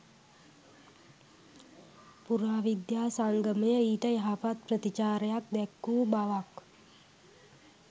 පුරාවිද්‍යා සංගමය ඊට යහපත් ප්‍රතිචාරයක් දැක්වූ බවක්